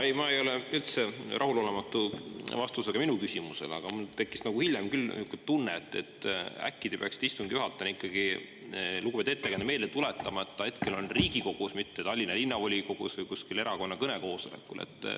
Ei, ma ei ole üldse rahulolematu vastusega minu küsimusele, aga mul tekkis hiljem küll niisugune tunne, et äkki te peaksite istungi juhatajana ikkagi lugupeetud ettekandjale meelde tuletama, et ta hetkel on Riigikogus, mitte Tallinna Linnavolikogus või kuskil erakonna kõnekoosolekul.